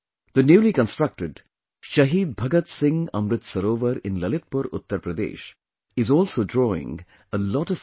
The newly constructed Shaheed Bhagat Singh Amrit Sarovar in Lalitpur, Uttar Pradesh is also drawing a lot of people